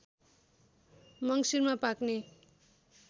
मङ्सिरमा पाक्ने